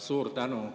Suur tänu!